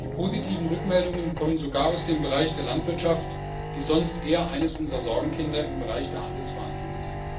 Die positiven Rückmeldungen kommen sogar aus dem Bereich der Landwirtschaft, die sonst eher eines unserer Sorgenkinder im Bereich der Handelsverhandlungen ist.